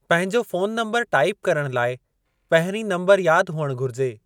पंहिंजो फ़ोन नम्बरु टाईप करण लाइ पहिरीं नंबर यादि हुअणु घुरिजे।